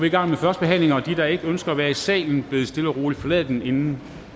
i gang med førstebehandlinger og de der ikke ønsker at være i salen bedes stille og roligt forlade den inden